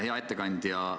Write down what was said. Hea ettekandja!